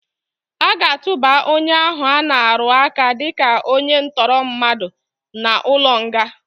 Aga atụba onye ahụ ana-arụaka dịka onye ntọrọmmadụ n'ụlọnga.